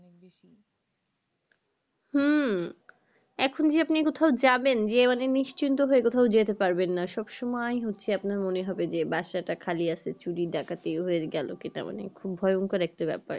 হম এখন যে আপনি কোথায় যাবেন যেয়ে মনে আপনি নিশ্চিন্ত হয়ে কোথায় যেতে পারবে না সব সময় হচ্ছে আপনার মনে হবে বাসা তা খালি চুরি ডাকাতি হয়ে গেলো কিনা মানে খুব একটা ভয়ঙ্কর একটা ব্যাপার